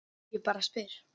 Ég bara spyr.